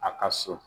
A ka so